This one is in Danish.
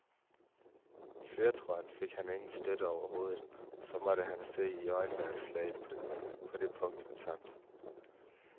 I førertrøjen fik han ingen støtte overhovedet, og så måtte han se i øjnene, at slaget på det punkt var tabt.